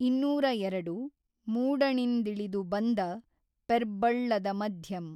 ಇನ್ನೂರ ಎರಡು ಮೂಡಣಿಂದಿೞದು ಬಂದ ಪೆರ್ಬ್ಬಳ್ಳದ ಮಧ್ಯಂ।